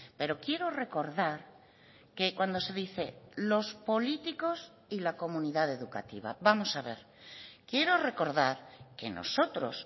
pero quiero recordar que cuando se dice los políticos y la comunidad educativa vamos a ver quiero recordar que nosotros